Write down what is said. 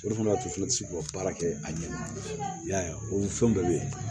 O de fana y'a to ne ti se k'u ka baara kɛ a ɲɛma i y'a ye o fɛn bɛɛ be ye